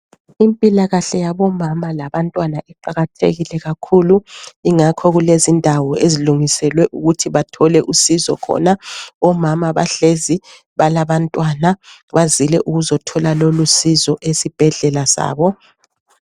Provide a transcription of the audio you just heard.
Impilakahle yabomama labantwana iqakathekile kakhulu. Ingakho kulezindawo ezilungiselwe ukuthi bathole usizo khona. Omama bahlezi, balabantwana, bazile ukuzothola lolusizo esibhedlela sabo.